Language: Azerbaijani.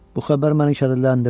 Bu xəbər məni kədərləndirdi.